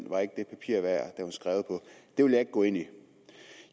var skrevet på det vil jeg ikke gå ind i